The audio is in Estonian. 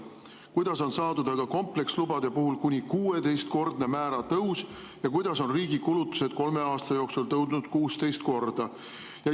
Kuidas on saadud aga komplekslubade puhul kuni 16-kordne määra tõus ja kuidas on riigi kulutused kolme aasta jooksul tõusnud 16 korda?